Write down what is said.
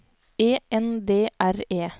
E N D R E